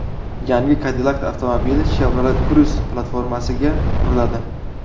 Yangi Cadillac avtomobili Chevrolet Cruze platformasiga quriladi.